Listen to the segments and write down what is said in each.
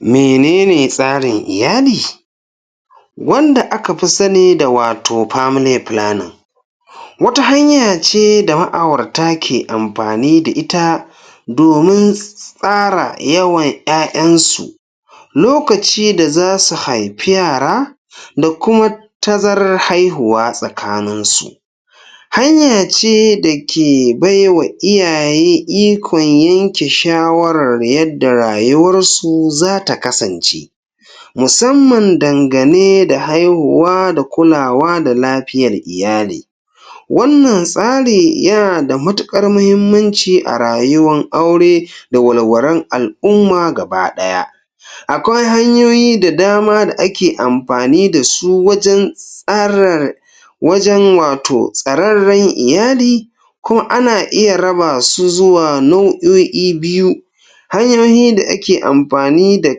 Mene ne tsarin iyali wanda aka fi sani da wato family planning? Wata hanya da ma'aurata ke amfani da ita domin tsara yawan ƴaƴansu lokaci da za su haifi yara da kuma tazarar haihuwa tsakaninsu. Hanya ce da ke bai wa iyaye ikon yanke shawarar yadda rayuwarsu za ta kasance. Musamman dangane da haihuwa da kulawa da lafiyar iyali Wannan tsari yana da matuƙar muhimmanci a rayuwan aure da walwalan al'umma gaba ɗaya. Akwai hanyoyi da dama da ake amfani da su wajen tsarar, wajen wato tsararren iyali ko ana iya raba su zuwa nau'o'i biyu. Hanyoyi da ake amfani da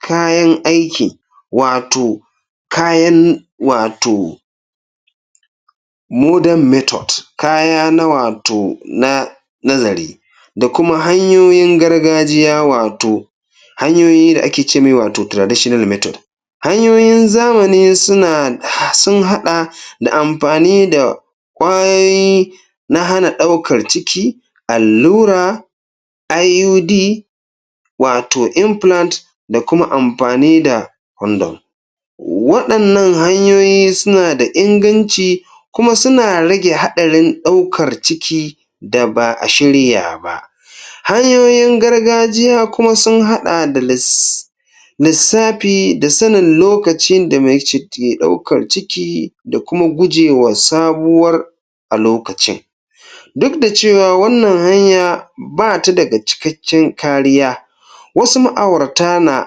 kayan aiki, wato kayan wato modern method--kaya na wato na nazari da kuma hanyoyin gargajiya wato, hanyoyi da ake ce mai wato traditional method Hanyoyin zamani suna um sun haɗa da amfani da ƙwayoyi na hana ɗauakr ciki--allura IUD, wato implant da kuma amfani da kondom. Waɗannan hanyoyi suna da inganci kuma suna rage haɗarin ɗaukar ciki da ba a shirya ba. Hanyoyin gargajiya kuma sun haɗa da lis lissafi da sanin lokacin da mai ciki ke ɗaukar ciki da kuma gujewa sabuwar a lokacin duk da cewa wannan hanya ba ta daga cikakken kariya Wasu ma'aurata na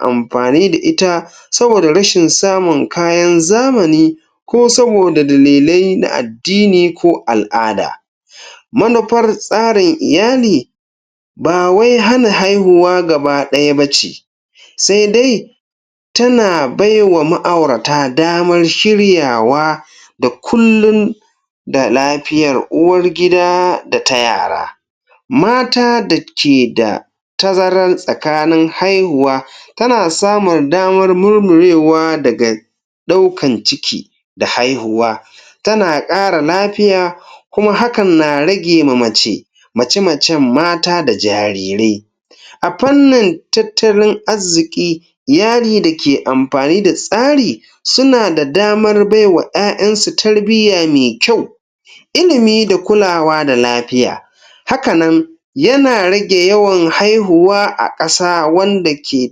mafani da ita saboda rashin samun kayan zamani ko saboda dalilai na addini ko al'ada. Manufar tsarin iyali ba wai hana haihuwa gaba ɗaya ba ce; sai dai tana bai wa ma'aurata damar shiryawa da kullum da lafiyar uwar gida da ta yara Mata da ke da tazarar tsakanin haihuwa tana samun damar murmurewa daga ɗaukan ciki da haihuwa. Tana ƙara lafiya kuma hakan na rage ma mace mace-macen mata da jarirai A fannin tattalin arziki, iyali da ke amfani da tsari suna da damar bai wa ƴaƴansu tarbiyya mai kyau ilimi da kulawa da lafiya. Haka nan, yana rage yawan haihuwa a ƙasa wanda ke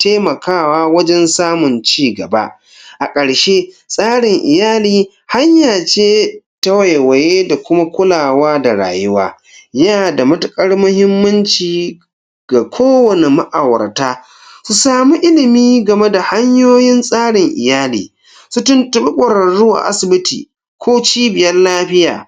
taimakawa wajen samun cigaba. A ƙarshe, tsarin iyali hanya ce ta waiwaye da kuma kulawa da rayuwa. Yana da matuƙar muhimmanci ga kowane ma'aurata su samu ilimi game da hanyoyin tsarin iyali. Su tuntuɓi ƙwararru a asibiti ko cibiyar lafiya